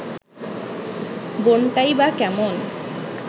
বোনটাই বা কেমন